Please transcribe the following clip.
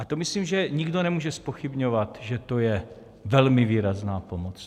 A to myslím, že nikdo nemůže zpochybňovat, že to je velmi výrazná pomoc.